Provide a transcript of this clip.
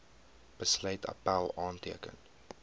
besluit appèl aanteken